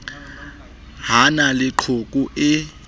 ho na le qhoku e